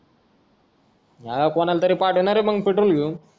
हां कोणाला तरी पाठव नारे मग petrol घेऊन